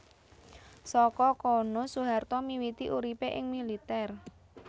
Saka kono Soeharto miwiti uripé ing militèr